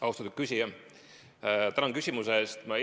Austatud küsija, tänan küsimuse eest!